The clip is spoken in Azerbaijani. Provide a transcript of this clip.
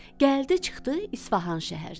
Gəldi, çıxdı İsfahan şəhərinə.